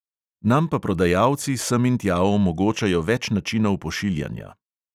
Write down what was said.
Nam pa prodajalci sem in tja omogočajo več načinov pošiljanja.